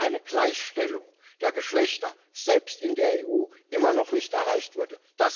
Weil eine Gleichstellung der Geschlechter selbst in der EU immer noch nicht erreicht wurde.